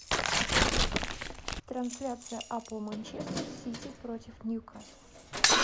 трансляция апл манчестер сити против ньюкасла